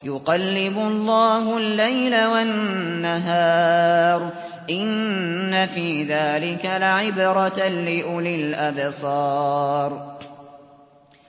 يُقَلِّبُ اللَّهُ اللَّيْلَ وَالنَّهَارَ ۚ إِنَّ فِي ذَٰلِكَ لَعِبْرَةً لِّأُولِي الْأَبْصَارِ